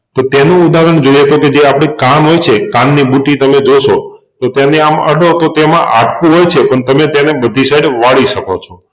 તો પેલું ઉદાહરણ જોઈએતો તો જે આપણે કાન હોય છે કાનની બુટી તમે જોશોતો તેને આમ અડો તો તેમાં હાડકું હોય છે પણ તેને બધી સાઇડ વાળી શકો છો.